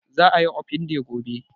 Za a yi open day gobe